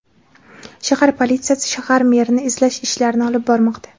Shahar politsiyasi shahar merini izlash ishlarini olib bormoqda.